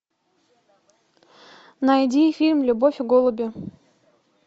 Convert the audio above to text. найди фильм любовь и голуби